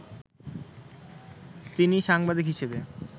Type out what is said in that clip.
তিনি সাংবাদিক হিসেবে